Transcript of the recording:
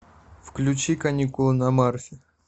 включи каникулы на марсе